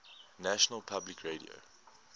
national public radio